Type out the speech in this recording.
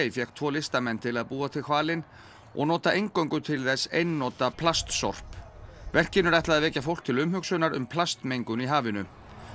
fékk tvo listamenn til að búa til hvalinn og nota eingöngu til þess einnota plastsorp verkinu er ætlað að vekja fólk til umhugsunar um plastmengun í hafinu